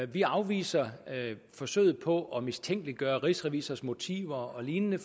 vi afviser forsøget på at mistænkeliggøre rigsrevisors motiver og lignende